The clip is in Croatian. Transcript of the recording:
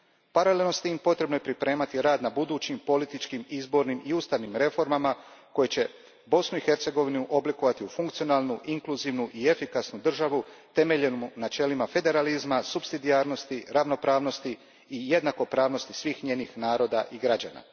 Paralelno s tim, potrebno je pripremati rad na budućim političkim, izbornim i ustavnim reformama koje će Bosnu i Hercegovinu oblikovati u funkcionalnu, inkluzivnu i efikasnu državu temeljenu na načelima federalizma, supsidijarnosti, ravnopravnosti i jednakopravnosti svih njenih naroda i građana.